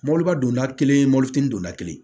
Mɔbiliba donda kelen mɔbilitigi donna kelen